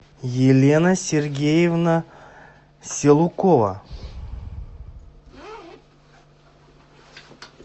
елена сергеевна селукова